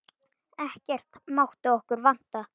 Ekkert mátti okkur vanta.